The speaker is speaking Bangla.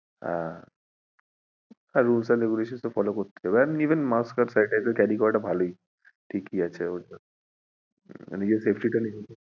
হ্যাঁ আর rules and regulation তো follow করতেই হবে and even mask and sanitizer carry করাটা ভালোই। ঠিকই আছে ওটা, মানে নিজের safety টা নিজে,